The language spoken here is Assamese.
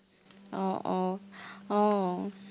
আহ আহ আহ